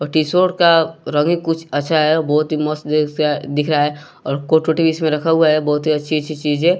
और टी_शर्ट का रंग ही कुछ अच्छा है और बहोत ही मस्त जैसा दिख रहा है और कोट वोट इसमें रख हुआ है बहुत ही अच्छी अच्छी चीजें--